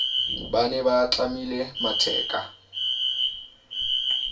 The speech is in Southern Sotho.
ba ne ba tlamile matheka